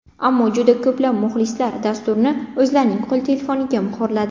Ammo juda ko‘plab muxlislar dasturni o‘zlarining qo‘l telefoniga muhrladi.